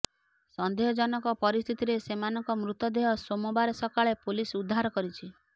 ସନ୍ଦେହଜନକ ପରିସ୍ଥିତିରେ ସେମାନଙ୍କ ମୃତଦେହ ସୋମବାର ସକାଳେ ପୋଲିସ୍ ଉଦ୍ଧାର କରିଛି